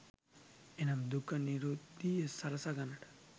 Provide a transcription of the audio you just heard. එනම් දුක්ඛ නිරුද්ධීය සලසා ගන්නට